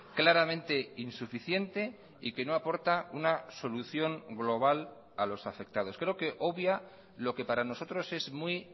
claramente insuficiente y que no aporta una solución global a los afectados creo que obvia lo que para nosotros es muy